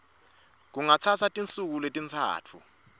kungatsatsa tinsuku letintsatfu